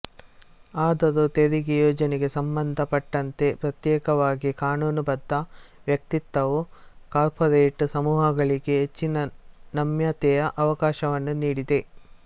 ಆದರೂ ತೆರಿಗೆ ಯೋಜನೆಗೆ ಸಂಬಂಧ ಪಟ್ಟಂತೆ ಪ್ರತ್ಯೇಕವಾದ ಕಾನೂನು ಬದ್ಧ ವ್ಯಕ್ತಿತ್ವವು ಕಾರ್ಪೊರೇಟ್ ಸಮೂಹಗಳಿಗೆ ಹೆಚ್ಚಿನ ನಮ್ಯತೆಯ ಅವಕಾಶವನ್ನು ನೀಡಿದೆ